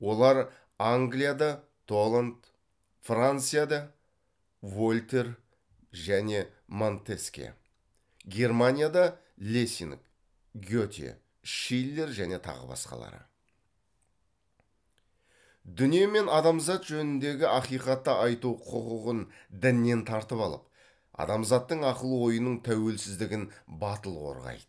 олар дүние мен адамзат жөніндегі ақиқатты айту құқығын діннен тартып алып адамзаттың ақыл ойының тәуелсіздігін батыл қорғайды